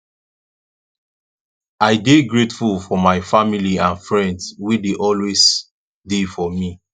i dey grateful for my family and friends wey dey always dey for me